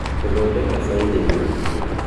Gũthondeka saileji